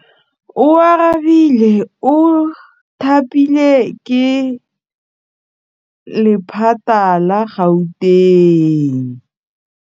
Oarabile o thapilwe ke lephata la Gauteng.